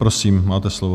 Prosím, máte slovo.